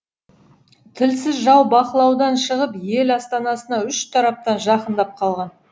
тілсіз жау бақылаудан шығып ел астанасына үш тараптан жақындап қалған